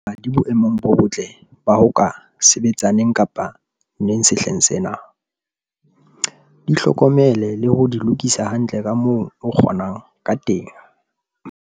Na di boemong bo botle ba ho ka sebetsa neng kapa neng sehleng sena? Di hlokomele le ho di lokisa hantle ka moo o kgonang ka teng.